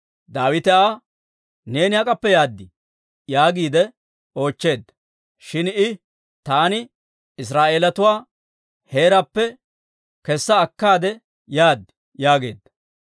Daawite Aa, «Neeni hak'appe yaad?» yaagiide oochcheedda. Shin I, «Taani Israa'eeletuwaa heeraappe kessa akkaade yaad» yaageedda.